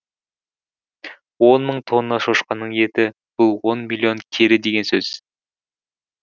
он мың тонна шошқаның еті бұл он миллион келі деген сөз